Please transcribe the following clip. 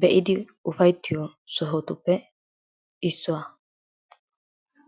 be'idi ufayttiyo sohotuppe issuwa.